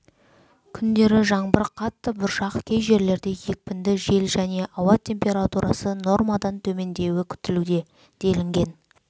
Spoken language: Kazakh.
күндері жаңбыр қатты бұршақ кей жерлерде екпінді жел және ауа температурасы нормадан төмендеуі күтілуде делінген